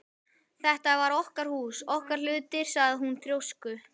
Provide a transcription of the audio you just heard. Þetta var okkar hús, okkar hlutir sagði hún þrjósku